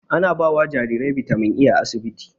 Ana bawa jarirai bitamin A a asibiti